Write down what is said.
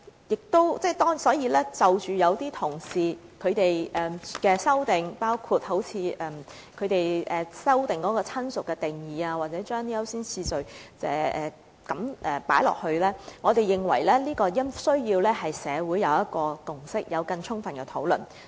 關於議員同事的修正案，包括他們對"親屬"定義的修訂，或在條文中加入優先次序等，我們認為這方面需要取得社會共識，並進行更充分的討論。